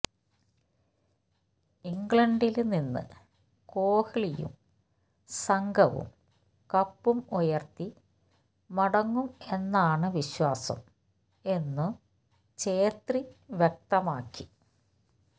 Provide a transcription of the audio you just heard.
ഇംഗ്ലണ്ടില് നിന്ന് കോഹ്ലിയും സംഘവും കപ്പും ഉയര്ത്തി മടങ്ങും എന്നാണ് വിശ്വാസം എന്നും ഛേത്രി വ്യക്തമാക്കി